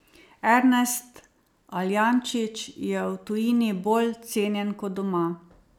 Ernest Aljančič je v tujini bolj cenjen kot doma.